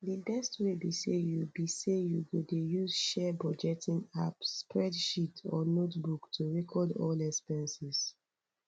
di best way be say you be say you go dey use share budgeting app spreadsheet or notebook to recored all expenses